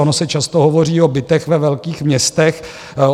Ono se často hovoří o bytech ve velkých městech.